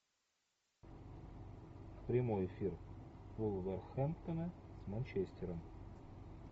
прямой эфир вулверхэмптона с манчестером